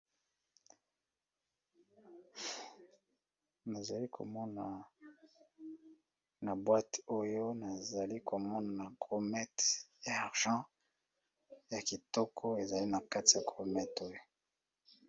Nazali komona na boîte Oyo nazali komona gourmet ya argant ya kitoko